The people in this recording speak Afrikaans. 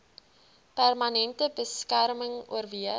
permanente beskerming oorweeg